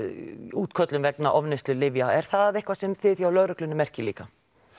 útköllum vegna ofneyslu lyfja er það eitthvað sem þið hjá lögreglunni merkið líka